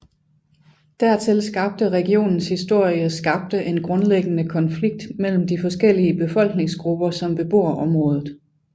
Dertil skabte regionens historie skabte en grundlæggende konflikt mellem de forskellige befolkningsgrupper som bebor området